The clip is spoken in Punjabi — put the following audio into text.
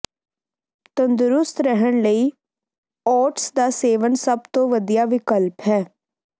ਤੰਦਰੁਸਤ ਰਹਿਣ ਲਈ ਓਟਸ ਦਾ ਸੇਵਨ ਸਭ ਤੋਂ ਵਧੀਆ ਵਿਕਲਪ ਹੈ